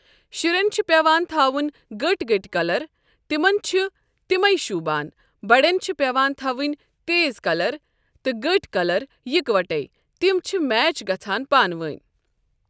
شُرٮ۪ن چھِ پٮ۪وان تھَاوُن گٔٹۍ گٔٹۍ کَلَر تِمَن چھِ تِمَے شوٗبان بَڈٮ۪ن چھِ پٮ۪وان تھَوٕنۍ تیز کَلَر تہٕ گٔٹۍ کَلَر یِکوَٹَیٚے تِم چھِ میچ گَژھان پانہٕ ؤنۍ .